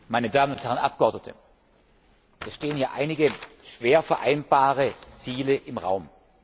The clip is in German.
Herr Präsident, meine Damen und Herren Abgeordnete! Es stehen hier einige schwer vereinbare Ziele im Raum.